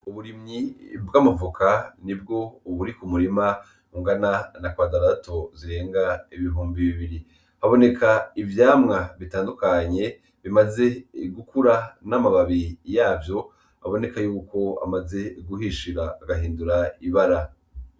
Uburimyi bw’amavoka nibwo buri ku murima bungana na kwadarato zirenga ibihumbi bibiri. Haboneka ivyamwa bitandukanye bimaze gukura n’amababi yavyo aboneka yuko amaze guhishira agahindura ibara.